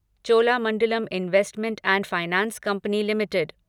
Cholamandalam investment and finance company limited